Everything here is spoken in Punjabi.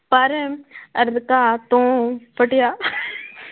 ਪਰ ਤੋਂ ਫਟਿਆ